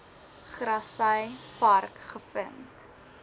grassy park gevind